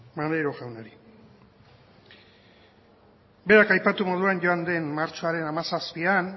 maneiro jaunari berak aipatu moduan joan den martxoaren hamazazpian